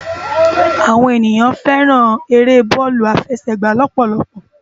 Awòn éniyàn fèrán éré bòlú áfèsègbá lòpòlòpò